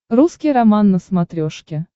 русский роман на смотрешке